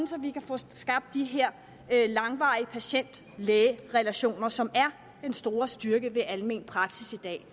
så vi kan få skabt de her langvarige patient læge relationer som er den store styrke ved almen praksis i dag